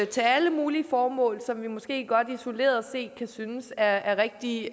til alle mulige formål som vi måske godt isoleret set kan synes er rigtig